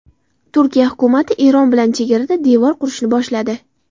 Turkiya hukumati Eron bilan chegarada devor qurishni boshladi.